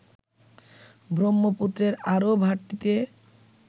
ব্রহ্মপুত্রের আরো ভাটিতে